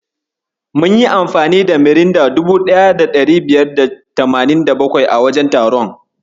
Mun yi amfani da Miranda 1587 a wajen taron.